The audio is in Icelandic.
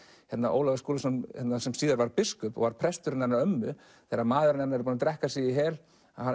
Ólafur Skúlason sem síðar varð biskup var presturinn hennar ömmu þegar maðurinn hennar er búinn að drekka sig í hel